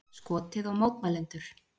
Skotið á mótmælendur